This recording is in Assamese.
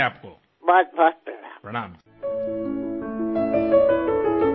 আমাৰ ঘৰসমূহত যিবোৰ সংখ্যাত অধিক যাক আমাৰ প্ৰয়োজন নাই সেয়া আমি বাহিৰলৈ নিশ্চয় প্ৰেৰণ কৰিব পাৰো